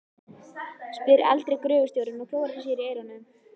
spyr eldri gröfustjórinn og klórar sér í eyranu.